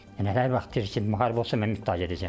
Nə vaxt deyir ki, müharibə olsa mən iştirak edəcəm.